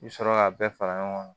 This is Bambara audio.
I bi sɔrɔ ka bɛɛ fara ɲɔgɔn kan